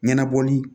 Ɲɛnabɔli